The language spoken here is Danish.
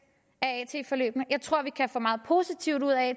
af at forløbene jeg tror at vi kan få meget positivt ud af